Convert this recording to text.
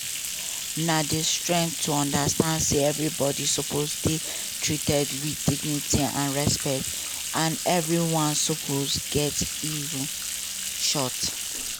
na di strength to understand say evribodi suppose dey treated wit dignity and respect - and evrione suppose get even shot."